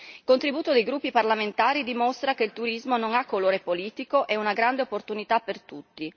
Il contributo dei gruppi parlamentari dimostra che il turismo non ha colore politico, è una grande opportunità per tutti.